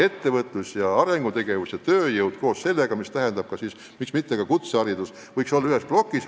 Ettevõtlus, arengutegevus ja tööjõud ehk siis ka kutseharidus võiks regioonis olla ühes plokis.